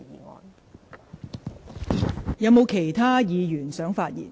是否有其他議員想發言？